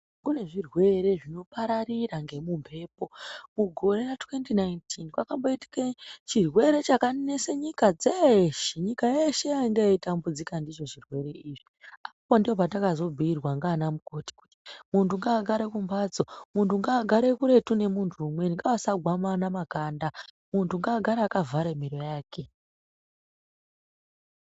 Kune zvirwere zvinopararira ngemumbepo. Mugore ra2019 kwakamboitike chirwere chakanese nyika dzeshe. Nyika yeshe yanga yatambudzika ndicho chirwere ichi. Ipapo ndopatakazobhuyirwa ndiana mukoti kuti munhu ngaagare kumhatso, munhu ngaagare kuretu nemuntu umweni, ngaasagwamana makanda muntu ngaagare akavhara miro yake.